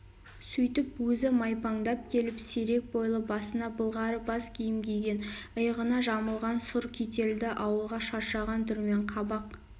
сөйтіп өзі майпаңдап келіп серек бойлы басына былғары бас киім киген иығына жамылған сұр кительді ауылға шаршаған түрмен қабақ